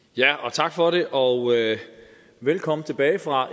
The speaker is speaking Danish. tak for det og velkommen tilbage fra